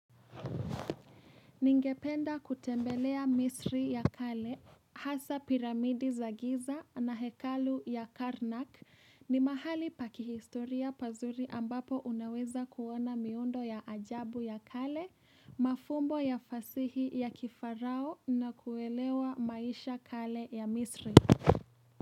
Ningependa kutembelea misri ya kale, hasa piramidi za giza na hekalu ya Karnak ni mahali pa kihistoria pazuri ambapo unaweza kuona miundo ya ajabu ya kale, mafumbo ya fasihi ya kifarao na kuelewa maisha kale ya misri.